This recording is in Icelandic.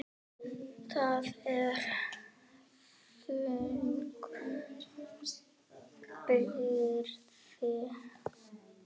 Það er þung byrði.